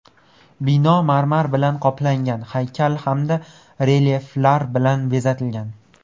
Bino marmar bilan qoplangan, haykal hamda relyeflar bilan bezatilgan.